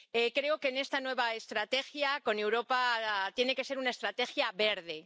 Creo que esta nueva estrategia con Europa tiene que ser una estrategia verde.